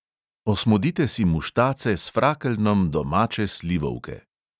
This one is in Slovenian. Osmodite si muštace s frakeljnom domače slivovke.